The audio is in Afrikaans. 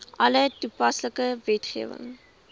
alle toepaslike wetgewing